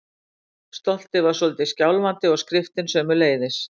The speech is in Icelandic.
Stoltið var svolítið skjálfandi- og skriftin sömuleiðis.